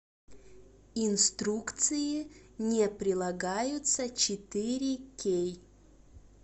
инструкции не прилагаются четыре кей